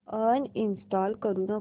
uninstall करू नको